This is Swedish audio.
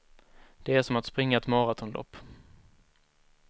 Det är som att springa ett maratonlopp.